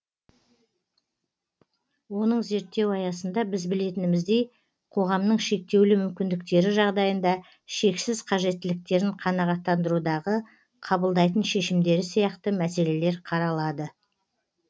оның зерттеу аясында біз білетініміздей қоғамның шектеулі мүмкіндіктері жағдайында шексіз қажеттіліктерін қанағаттандырудағы қабылдайтын шешімдері сияқты мәселелер қаралады